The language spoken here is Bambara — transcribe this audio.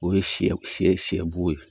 O ye sɛ sɛ bo ye